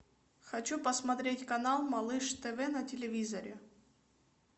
хочу посмотреть канал малыш тв на телевизоре